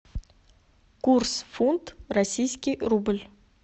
курс фунт российский рубль